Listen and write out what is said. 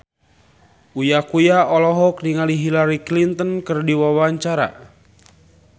Uya Kuya olohok ningali Hillary Clinton keur diwawancara